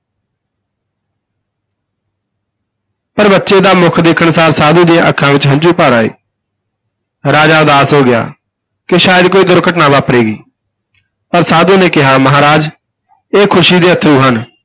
ਪਰ ਬੱਚੇ ਦਾ ਮੁੱਖ ਦੇਖਣ ਸਾਰ ਸਾਧੂ ਦੀਆਂ ਅੱਖਾਂ ਵਿਚ ਹੰਝੂ ਭਰ ਆਏ ਰਾਜਾ ਉਦਾਸ ਹੋ ਗਿਆ ਕਿ ਸ਼ਾਇਦ ਕੋਈ ਦੁਰਘਟਨਾ ਵਾਪਰੇਗੀ, ਪਰ ਸਾਧੂ ਨੇ ਕਿਹਾ ਮਹਾਰਾਜ ਇਹ ਖੁਸ਼ੀ ਦੇ ਅਥਰੂ ਹਨ।